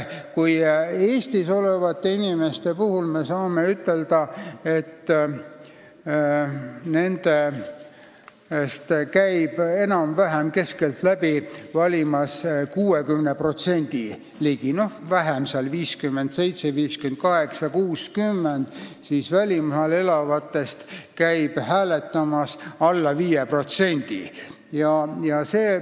Kui Eestis olevate inimeste kohta me saame ütelda, et nendest käib valimas 60% või veidi vähem, 57%, 58% või 59%, siis välismaal elavatest käib hääletamas 5–6%.